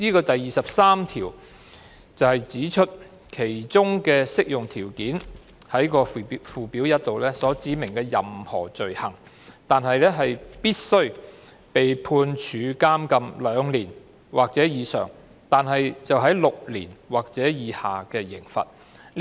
第23條指出，其中的適用條件是附表1所指明的任何罪行，但必須為被判處監禁兩年或以上及為6年或以下的刑罰。